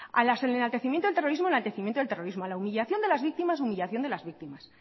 al enaltecimiento del terrorismo enaltecimiento del terrorismo a la humillación de las víctimas humillación de las víctimas